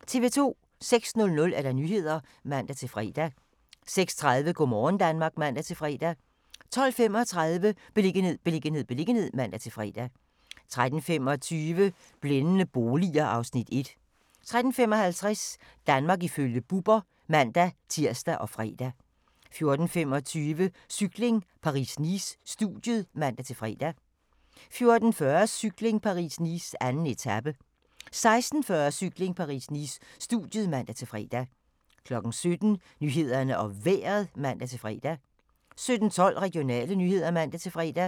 06:00: Nyhederne (man-fre) 06:30: Go' morgen Danmark (man-fre) 12:35: Beliggenhed, beliggenhed, beliggenhed (man-fre) 13:25: Blændende boliger (Afs. 1) 13:55: Danmark ifølge Bubber (man-tir og fre) 14:25: Cykling: Paris-Nice - studiet (man-fre) 14:40: Cykling: Paris-Nice - 2. etape 16:40: Cykling: Paris-Nice - studiet (man-fre) 17:00: Nyhederne og Vejret (man-fre) 17:12: Regionale nyheder (man-fre)